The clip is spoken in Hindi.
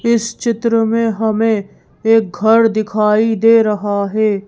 इस चित्र में हमें एक घर दिखाई दे रहा है।